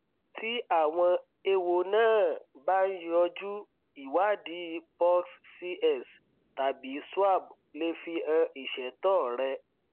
tí àwọn ewo náà bá ń yójú ìwádìí pus cs tàbí swab lè fihan ìṣètò rẹ